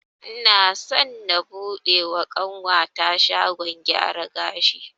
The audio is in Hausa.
Ina so na buɗe wa ƙanwata shagon gyaran gashi